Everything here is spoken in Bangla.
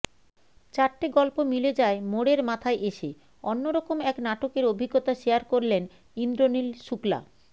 চারটে গল্প মিলে যায় মোড়ের মাথায় এসে অন্যরকম এক নাটকের অভিজ্ঞতা শেয়ার করলেন ইন্দ্রনীল শুক্লা